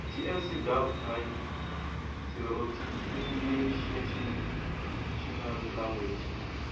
ts gov pri tsoarticlenational language